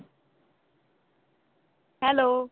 hello